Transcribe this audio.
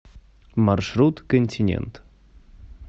маршрут континент